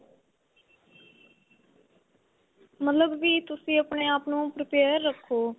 ਮਤਲਬ ਵੀ ਤੁਸੀਂ ਆਪਣੇ ਆਪ ਨੂੰ prepare ਰੱਖੋ